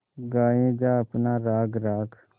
गाये जा अपना राग राग